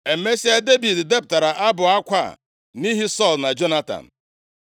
Emesịa, Devid depụtara abụ akwa a nʼihi Sọl na Jonatan.